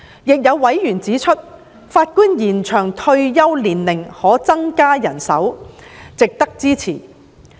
亦有委員指出，法官延展退休年齡可增加人手，值得支持。